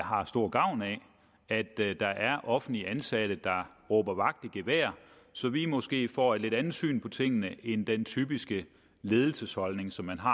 har stor gavn af at der der er offentligt ansatte der råber vagt i gevær så vi måske får et lidt andet syn på tingene end den typiske ledelsesholdning som man har